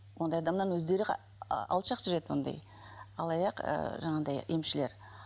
ондай адамнан өздері алшақ жүреді ондай алаяқ ыыы жаңағындай емшілер